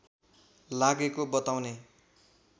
लागेको बताउने